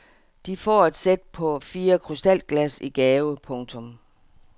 De får et sæt på fire krystalglas i gave. punktum